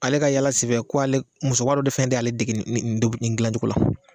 Ale ka yaala senfɛ ko ale musokɔrɔba dɔ de fɛn de y'ale dege nin dilancogo la